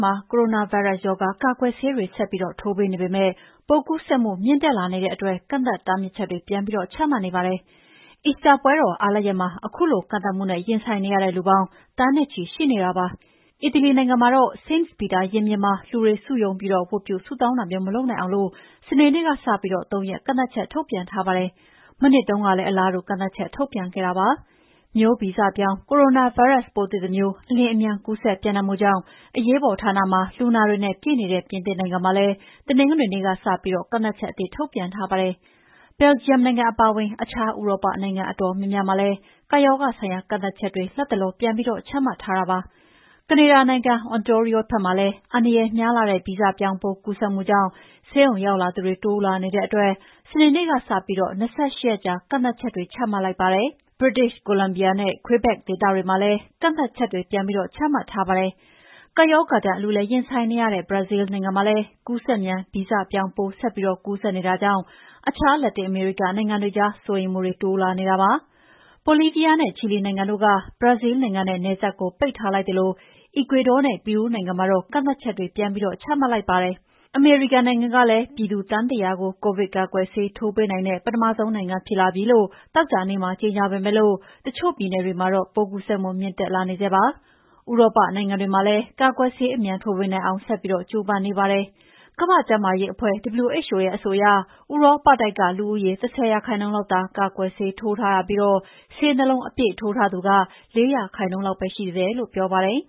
မှာ ကိုရိုနာဗိုင်းရပ်ရောဂါကာကွယ်ဆေးတွေ ဆက်ပြီးထိုးပေးနေပေမယ့် ပိုးကူးစက်မှုမြင့်တက်လာနေတဲ့အတွက် ကန့်သတ်တားမြစ်ချက်တွေ ပြန်ပြီးချမှတ် နေကြပါတယ်။ အီစတာပွဲတော် အားလပ်ရက်မှာ ခုလိုကန့်သတ်မှုနဲ့ရင်ဆိုင်နေရတဲ့ လူပေါင်း သန်းနဲ့ချီရှိနေတာပါ။ အီတလီနို်င်ငံမှာ St.Peter ရင်ပြင်မှာ လူတွေစုရုံးပြီး ဝတ်ပြုဆုတောင်းတာမျိုး မလုပ် နိုင်အောင် စနေနေ့ကစပြီး ၃ ရက်ကန့်သတ်ချက်ထုတ်ပြန်ထားပါတယ်။ မနှစ်တုန်းကလည်း အလားတူကန့်သတ်ချက်ထုတ်ပြန်ခဲ့ပါတယ်။ မျိုးဗီဇပြောင်းကိုရိုနာဗိုင်းရပ်စ်ပိုးသစ်တမျိုး အလျင်အမြန်ကူးစက်ပြန့်နှံ့မှုကြောင့် အရေးပေါ်ဌာနမှာ လူနာတွေနဲ့ ပြည့်နေတဲ့ ပြင်သစ်နိုင်ငံမှာလည်း တနင်္ဂနွေနေ့ကစပြီး ကန့်သတ်ချက်အသစ်ထုတ်ပြန်ထားပါတယ်။ ဘယ်လ်ဂျီယံနိုင်ငံ အပါအဝင် အခြားဥရောပနိုင်ငံ အတော်များများမှာလည်း ကပ်ရောဂါ ဆိုင်ရာ ကန့်သတ်ချက်တွေ လတ်တလော ပြန်ပြီးချမှတ်ထားတာပါ။ ကနေဒါနိုင်ငံ Ontario ဖက်မှာလည်း အန္တရယ်များလှတဲ့ ဗီဇပြောင်းပိုးကူးစက်မှုကြောင့် ဆေးရုံ ရောက်လာသူတွေ တိုးလာနေတဲ့အတွက် စနေနေ့ကစပြီး၂၈ ရက်ကြာကန့်သတ်ချက်တွေချမှတ်လိုက်ပါတယ်။ British Columbia နဲ့ Quebec ဒေသတွေမှာလည်း ကန့်သတ်ချက်တွေ ပြန်ပြီး ချမှတ် ထားပါတယ်။ ကပ်ရောဂါဒဏ်အလူးအလဲရင်ဆိုင်နေရတဲ့ ဘရာဇီးလ်နိုင်ငံမှာလည်း ကူးစက်မြန် ဗီဇပြောင်းပိုး ဆက်ပြီးကူးစက် ပြန့်နှံ့ နေတာကြောင့် အခြား လက်တင်အမေရိက နိုင်ငံတွေကြား စိုးရိမ်မှုတွေတိုးလာနေတာပါ။ ဘိုလီးဗီးယားနဲ့ ချီလီနိုင်ငံတို့က ဘရာဇီးလ်နိုင်ငံ နဲ့ နယ်စပ်ကို ပိတ်ထားလိုက်သလို အီကွေဒေါနဲ့ပီရူးနိုင်ငံမှာတော့ ကန့်သတ်ချက်တွေချမှတ်လိုက်ကြပါတယ်။ အမေရိကန်နိုင်ငံကလည်း ပြည်သူသန်း ၁၀၀ ကို ကိုဗစ်ကာကွယ်ဆေးထိုးပေးနိုင်တဲ့ ပထမဆုံးနိုင်ငံဖြစ်လာပြီလို့ သောကြာနေ့မှာ ကြေငြာပေမယ့် တချို့ပြည်နယ်တွေမှာတော့ ပိုးကူးစက်မှုမြင့်တက်လာနေဆဲပါ။ ဥရောပနိုင်ငံတွေမှာလည်း ကာကွယ်ဆေး အမြန် ထိုးပေးနိုင်အောင် ဆက်ပြီးကြိုးပမ်းနေကြပါတယ်။ ကမ္ဘာ့ကျန်းမာရေးအဖွဲ့ WHO ရဲ့အဆိုအရ ဥရောပတိုက်က လူဦးရေ ၁၀%လောက်သာ ကာကွယ်ဆေးထိုးပေးထားရပြီး ဆေး ၂ လုံးအပြည့်ထိုးထားသူက ၄ %လောက်ပဲရှိသေးတယ်လို့ပြောပါတယ်